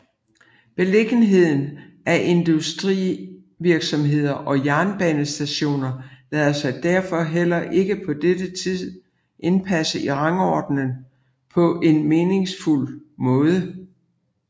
Beliggenheden af industrivirksomheder og jernbanestationer lader sig derfor heller ikke på denne tid indpasse i rangordningen på en meningsfuld måde